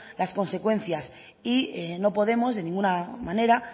las consecuencias y no podemos de ninguna manera